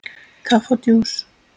Kaffi og djús.